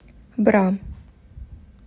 бра